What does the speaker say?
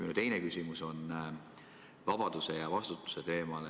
Minu teine küsimus on vabaduse ja vastutuse teemal.